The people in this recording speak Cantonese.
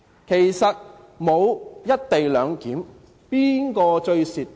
如果沒有"一地兩檢"，誰最吃虧？